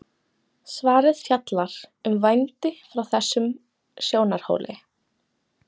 svarið fjallar um vændi frá þessum sjónarhóli